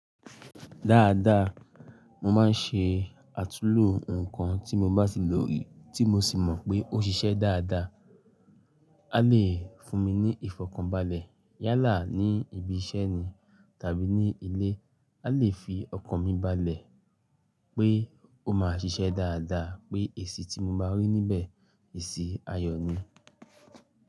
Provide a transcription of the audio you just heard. Dáadáa, mo máa ń ṣe àtulò nǹkan tí mo bá ti lò rí tí mo sì mọ̀ pé ó ṣiṣẹ́ dáadáa. A lè fún mi ní ìfọ̀kànbalẹ̀ yálà ní ibi iṣẹ́ ni tàbí ní ilé. A lè fi ọkàn mi balẹ̀ pé ó máa ṣiṣẹ́ dáadáa pé èsì tí mo bá rí níbẹ̀, èsì ayọ̀ ni.